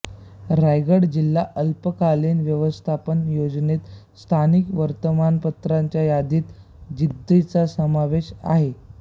रायगड जिल्हा आपत्कालीन व्यवस्थपन योजनेत स्थानिक वर्तमानपत्रान्च्या यादित जिद्दचा समावेश आहे